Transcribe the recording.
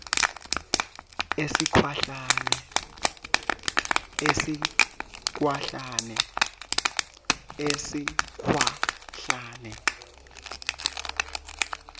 esikhwahlane